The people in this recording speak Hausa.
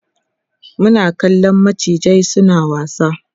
Muna kallan macizan suna wasa